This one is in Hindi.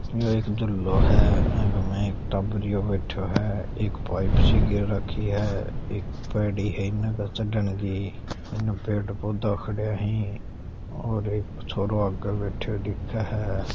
इके माय टाबरियो बैठ्यो है एक पाइप सी गैर राखी है एक पेड़ी है इने चढ़न की इन पेड़ पौधा खड्या है और एक छोरो आगे बैठ्यो दिखे है।